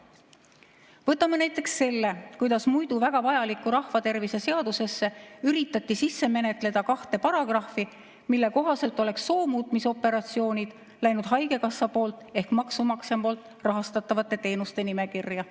Võtame näiteks selle, kuidas muidu väga vajalikku rahvatervise seadusesse üritati sisse menetleda kahte paragrahvi, mille kohaselt oleks soomuutmise operatsioonid läinud haigekassa ehk maksumaksja rahastatavate teenuste nimekirja.